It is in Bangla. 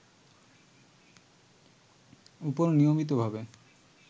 উপর নিয়মিতভাবে